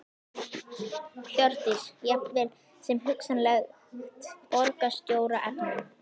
Hjördís: Jafnvel sem hugsanlegt borgarstjóraefni?